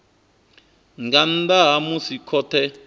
nga nnḓa ha musi khothe